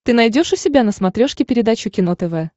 ты найдешь у себя на смотрешке передачу кино тв